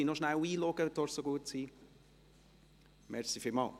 Bitte melden Sie sich noch kurz an.